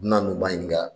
N na n'u ba ɲininka